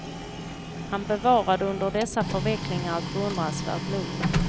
Han bevarade under dessa förvecklingar ett beundransvärt lugn.